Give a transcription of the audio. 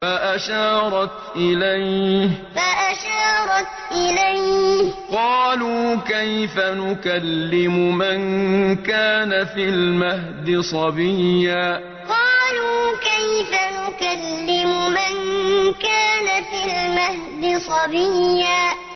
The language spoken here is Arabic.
فَأَشَارَتْ إِلَيْهِ ۖ قَالُوا كَيْفَ نُكَلِّمُ مَن كَانَ فِي الْمَهْدِ صَبِيًّا فَأَشَارَتْ إِلَيْهِ ۖ قَالُوا كَيْفَ نُكَلِّمُ مَن كَانَ فِي الْمَهْدِ صَبِيًّا